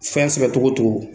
Fɛn sɛbɛ cogo o cogo